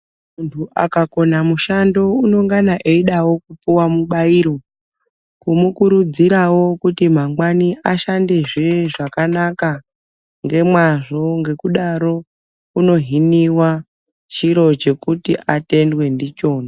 Munhu akakona mushando unongana eidawo kupuwa mubairo kumukurudzirawo kuti mangwani ashandezve zvakanaka ngemwazvo ngekudaro unohiniwa chiro chekuti atendwe ndichona.